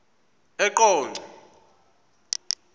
eqonco